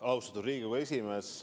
Austatud Riigikogu esimees!